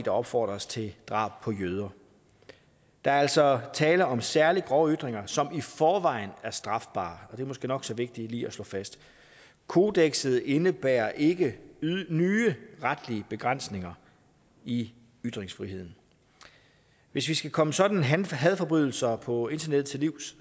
opfordres til drab på jøder der er altså tale om særlig grove ytringer som i forvejen er strafbare og det er måske nok så vigtigt lige at slå fast kodekset indebærer ikke nye retlige begrænsninger i ytringsfriheden hvis vi skal komme sådanne hadforbrydelser på internettet til livs